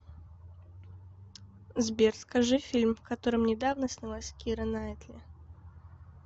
сбер скажи фильм в котором недавно снялась кира наитли